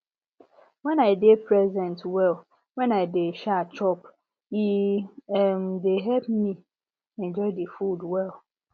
when i dey present well when i dey um chop e um dey help me enjoy the food well